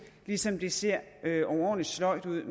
ligesom det ser overordentlig sløjt ud